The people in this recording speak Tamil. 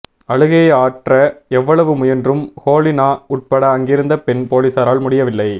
அழுகையை ஆற்ற எவ்வளவு முயன்றும் ஹோ லினா உட்பட அங்கிருந்த பெண் போலீசாரால் முடியவில்லை